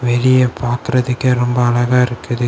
வெளிய பாக்ரதுக்கே ரொம்ப அழகா இருக்குது.